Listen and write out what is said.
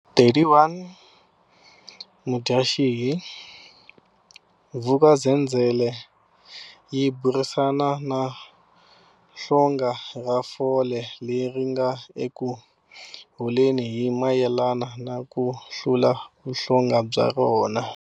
31 Mudyaxihi, Vuk'uzenzele yi burisana na hlonga ra fole leri ri nga eku holeni hi mayelana na ku hlula vuhlonga bya rona.